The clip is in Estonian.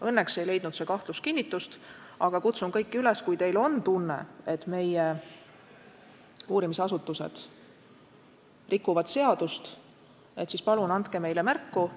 Õnneks ei leidnud see kahtlus kinnitust, aga kutsun kõiki üles: kui teil on tunne, et meie uurimisasutused rikuvad seadust, siis palun andke meile märku!